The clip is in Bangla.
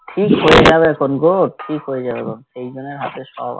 ঠিক হয়ে যাবে ঠিক হয়ে যাবে ভাব সেই জন্যে হাতে সব